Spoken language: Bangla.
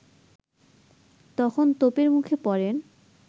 তখন তোপের মুখে পড়েন